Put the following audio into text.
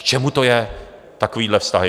K čemu to je, takovéhle vztahy?